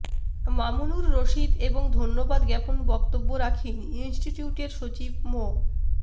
মামুনুর রশীদ এবং ধন্যবাদ জ্ঞাপন বক্তব্য রাখেন ইনস্টিটিউটের সচিব মো